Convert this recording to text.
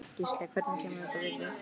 Gísli: Hvernig kemur þetta við þig?